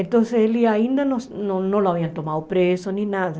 Então ele ainda não não não tinha sido preso, nem nada.